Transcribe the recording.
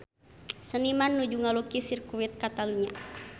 Seniman nuju ngalukis Sirkuit Catalunya